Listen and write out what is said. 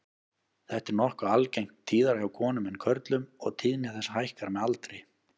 Þetta er nokkuð algengt, tíðara hjá konum en körlum og tíðni þess hækkar með aldri.